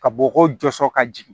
Ka bɔgɔ jɔsɔ ka jigin